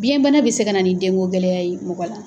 Biŋɛ bana bɛ se ka na ni denko gɛlɛya ye mɔgɔ la.